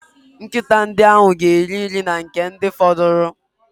Nkịta ndị ahụ ga-eri nri na nke a fọdụrụ.